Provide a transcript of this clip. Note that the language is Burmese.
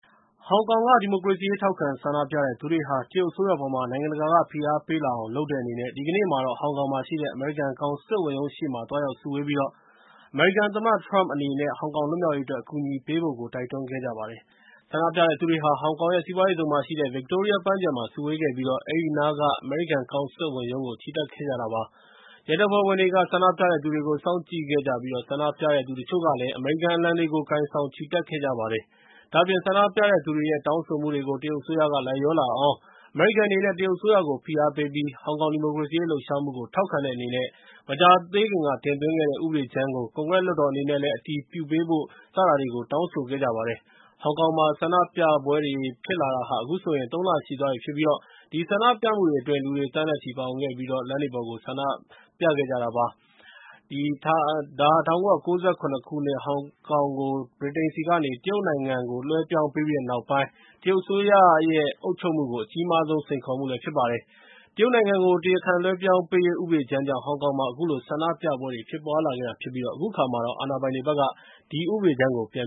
ဟောင်ကောင်က ဒီမိုကရေစီရေး ထောက်ခံဆန္ဒပြတဲ့သူတွေဟာ တရုတ်အစိုးရအပေါ်မှာ နိုင်ငံတကာ ဖိအားပေးလာအောင် လုပ်တဲ့အနေနဲ့ ဒီကနေ့မှာတော့ ဟောင်ကောင်မှာရှိတဲ့ အမေရိကန်ကောင်စစ်ဝန်ရုံးရှေ့မှာ သွားရောက်စုဝေးခဲ့ကြပါတယ်။ ဆန္ဒပြတဲ့သူတွေဟာ ဟောင်ကောင်ရဲ့ စီးပွားရေးဇုန်မှာရှိတဲ့ ပန်းခြံမှာ စုဝေးခဲ့ကြပြီးတော့ သူတို့ဟာ အဲဒီနားမှာရှိတဲ့ အမေရိကန်ကောင်စစ်ဝန်ရုံးကို ချီတက်ဆန္ဒပြခဲ့ကြတာပါ။ ဆန္ဒပြတဲ့သူတွေထဲက တချို့တွေကတော့ အမေရိကန်အလံတွေကို ကိုင်ဆောင်ခဲ့ကြပြီး တရုတ်အစိုးရအနေနဲ့ ဆန္ဒပြတဲ့သူတွေရဲ့ တောင်းဆိုမှုတွေကို လိုက်လျောလာအောင် အမေရိကန်အနေနဲ့ တရုတ်အစိုးရကို ဖိအားပေးပြီး ဟောင်ကောင်ဒီမိုကရေစီရေး လှုပ်ရှားမှုကို ထောက်ခံတဲ့အနေနဲ့ မကြာသေးခင်က တင်သွင်းခဲ့တဲ့ ဥပဒေကြမ်းကို ကွန်ဂရက်လွှတ်တော်အနေနနဲ့ အတည်ပြုပေးဖို့တွေကို တောင်းဆိုခဲ့ကြပါတယ်။ ဟောင်ကောင်မှာ ဆန္ဒပြပွဲတွေဖြစ်တာဟာ အခုဆိုရင် ၃ လ ရှိသွားပြီဖြစ်ပြီး အဲဒီဆန္ဒပြမှုတွေအတွင်း လူတွေ သန်းနဲ့ချီပါဝင်ပြီး လမ်းတွေပေါ်ကိုထွက် ဆန္ဒပြခဲ့ကြတာ ဖြစ်ပါတယ်။ ဒါဟာ ၁၉၉၇ ခုနှစ်က ဟောင်ကောင်ကို ဗြိတိန်ဆီကနေ တရုတ်နိုင်ငံကို လွဲှပြောင်းပြီးတဲ့နောက်ပိုင်း တရုတ်အစိုးရရဲ့ အုပ်ချုပ်မှုကို အကြီးမားဆုံး စိန်ခေါ်မှုဖြစ်ပါတယ်။ တရုတ်နိုင်ငံကို တရားခံလွှဲပြောင်းပေးရေး ဥပဒေကြမ်းကြောင့် ဟောင်ကောင်မှာ အခုလို ဆန္ဒပြပွဲတွေ ဖြစ်ပွားလာခဲ့တာဖြစ်ပါတယ်။ အခုအခါမှာတော့ အဲဒီဥပဒေကြမ်းကို ပြန်